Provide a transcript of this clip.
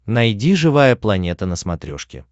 найди живая планета на смотрешке